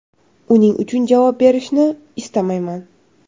Uning uchun javob berishni istamayman.